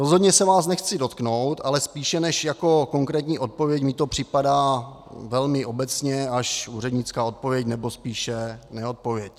Rozhodně se vás nechci dotknout, ale spíše než jako konkrétní odpověď mi to připadá velmi obecná až úřednická odpověď, nebo spíše neodpověď.